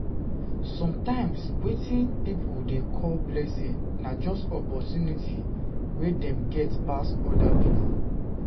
Sometimes wetin pipo dey call blessing na just opportunity wey dem get pass oda pipo